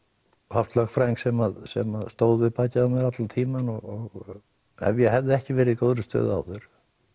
haft lögfræðing sem sem stóð við bakið á mér allan tímann og ef ég hefði ekki verið í góðri stöðu áður